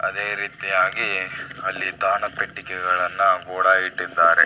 ಅದೇ ರೀತಿಯಾಗಿ ಅಲ್ಲಿ ತಾಣ ಪೆಟ್ಟಿಗೆಗಳನ್ನ ಕೂಡ ಇಟ್ಟಿದ್ದಾರೆ.